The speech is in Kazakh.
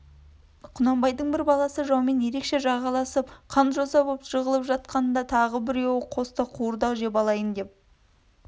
құнанбайдың бір баласы жаумен еркекше жағаласып қан жоса боп жығылып жатқанда тағы біреуі қоста қуырдақ жеп алайын деп